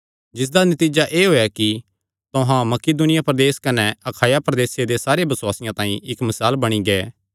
जिसदा नतीजा एह़ होएया कि तुहां मकिदुनिया प्रदेस कने अखाया प्रदेसे दे सारे बसुआसियां तांई इक्क मिसाल बणी गै